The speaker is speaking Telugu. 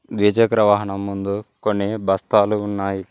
ద్విచక్ర వాహనం ముందు కొన్ని బస్తాలు ఉన్నాయి.